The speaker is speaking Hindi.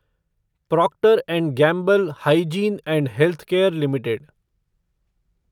Procter and Gamble hygiene and health care limited